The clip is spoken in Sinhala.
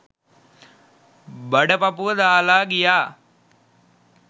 බඩ පපුව දාලා ගියා